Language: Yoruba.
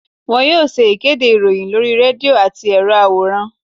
won yóò ṣe ìkédè iroyin lorí redio atí erò aworán.